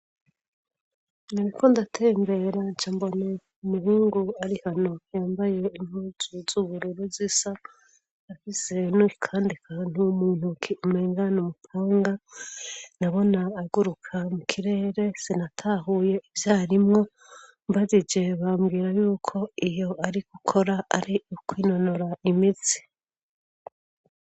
Nariko ndatembera cambona umuhungu ari hano yambaye impuzu z'ubururu zisa afise nakandi kantu mu ntoke umengana n’umupanga nabona aguruka mu kirere sinatahuye ivyarimwo mbajije bambwira yuko ivyo ari gukora ari ukwinonora imitsi.